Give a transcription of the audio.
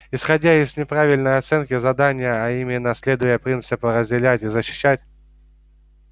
исходя из неправильной оценки задания а именно следуя принципу разделять и защищать